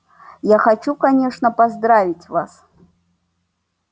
я хочу конечно поздравить вас